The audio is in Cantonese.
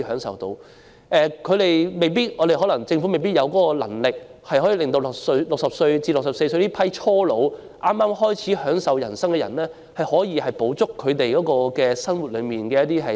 雖然政府未必有能力向60歲至64歲的初老、剛開始享受人生的人提供很多生活資助。